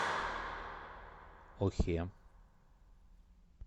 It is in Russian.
охе